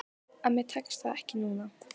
En mér tekst það ekki núna.